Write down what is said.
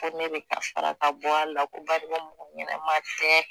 Ko ne bɛ ka fara ka bɔ a la ko